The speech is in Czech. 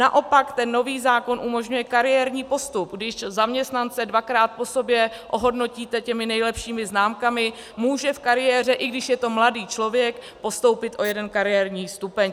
Naopak ten nový zákon umožňuje kariérní postup, když zaměstnance dvakrát po sobě ohodnotíte těmi nejlepšími známkami, může v kariéře, i když je to mladý člověk, postoupit o jeden kariérní stupeň.